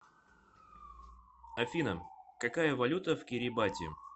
афина какая валюта в кирибати